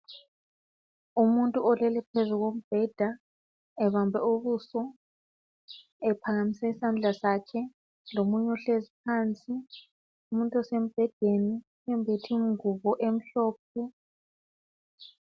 Umuntu olele phezulu kombheda ebambe ubuso ephakamise isandla zakhe lomunye ohlezi phansi umuntu osembhedeni wembethe ingubo emhlophe.